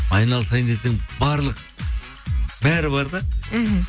айналысайын десем барлық бәрі бар да мхм